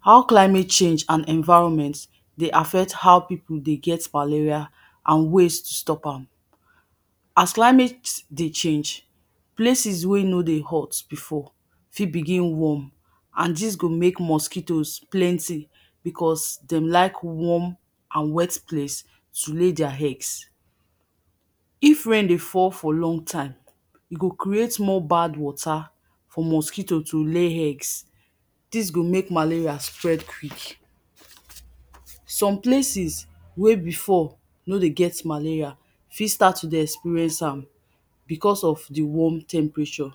how climate change and environment dey affect how pipu dey get malaria and ways to stop am. as climate dey change, places wey no dey hot before fit begin warm and dis go make mosquitoes plenty because dem like warm and wet place to lay their eggs. If rain dey fall for long time, e go create more bad water for mosquito to lay eggs dis go make malaria spread quick. some places wey before no dey get malaria fit start to dey experience am because of de warm temperature